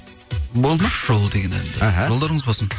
болды ма жол деген әнді іхі жолдарыңыз болсын